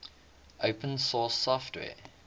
open source software